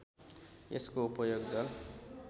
यसको उपयोग जल